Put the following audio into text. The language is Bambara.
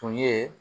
Tun ye